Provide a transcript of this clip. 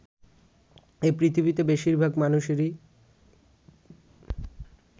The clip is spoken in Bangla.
এ পৃথিবীতে বেশির ভাগ মানুষেরই